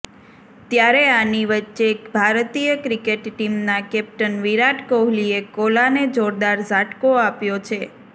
ત્યારે આની વચ્ચે ભારતીય ક્રિકેટ ટીમના કેપ્ટન વિરાટ કોહલીએ કોલા ને જોરદાર ઝાટકો આપ્યો છે